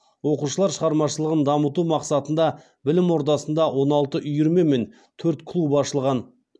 оқушылар шығармашылығын дамыту мақсатында білім ордасында он алты үйірме мен төрт клуб ашылған